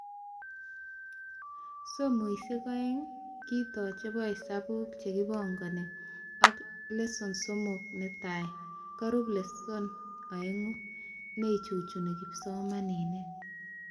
Somoishek aeng kitoo chebo hesabuk chekakibangan ak Lesson 3 netai, korub Lesson 2,neichuchuni kipsomanink